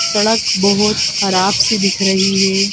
सड़क बहुत खराब सी दिख रही है।